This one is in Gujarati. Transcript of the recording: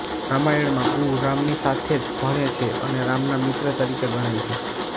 રામાયણમાં ગુહ રામની સાથે જ ભણે છે અને રામના મિત્ર તરીકે ગણાય છે